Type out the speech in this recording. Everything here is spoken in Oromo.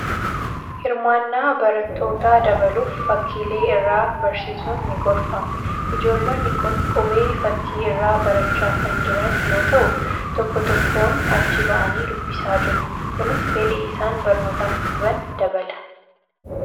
Hirmaannaa barattootaa dabaluuf, fakkiilee irraa barsiisuun ni gorfama. Ijoollonni kun qubee fakkii irraa barachaa kan jiran yoo ta'u, tokko tokkoon achi ba'anii dubbisaa jiru. Kunis fedhii isaan barnootaaf qaban dabala.